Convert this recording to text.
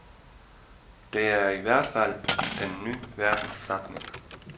Det er i hvert fald den ny verdens satsning.